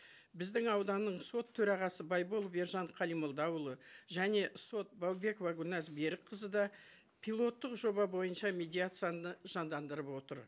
біздің ауданның сот төрағасы байболов ержан қалимолдаұлы және сот баубекова гүлназ берікқызы да пилоттық жоба бойынша медиацияны жандандырып отыр